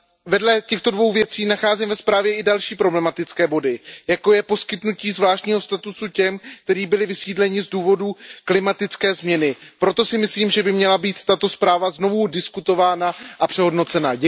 Vedle těchto dvou věcí nacházím ve zprávě i další problematické body, jako je poskytnutí zvláštního statusu těm, kteří byli vysídleni z důvodu klimatické změny. Proto si myslím, že by měla být tato zpráva znovu projednána a přehodnocena.